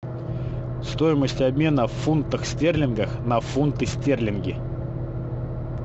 стоимость обмена в фунтах стерлингах на фунты стерлинги